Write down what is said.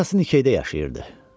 Mukun atası Nişedə yaşayırdı.